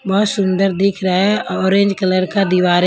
बहुत सुंदर दिख रहा है ऑरेंज कलर का दीवार है।